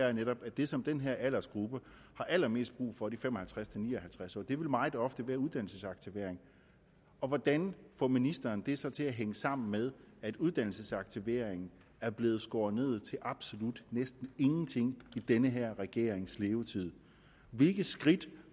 er netop at det som den her aldersgruppe har allermest brug for de fem og halvtreds til ni og halvtreds årige meget ofte vil være uddannelsesaktivering hvordan får ministeren det så til at hænge sammen med at uddannelsesaktiveringen er blevet skåret ned til absolut næsten ingenting i den her regerings levetid hvilke skridt